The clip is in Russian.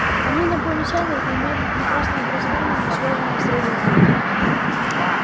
они инопланетяне и имеют прекрасное образование не связанное с религией